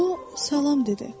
O salam dedi.